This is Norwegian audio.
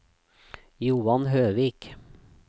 Johan Høvik